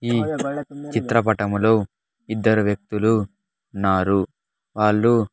ఈ చిత్రపటములో ఇద్దరు వ్యక్తులు ఉన్నారు వాళ్ళు--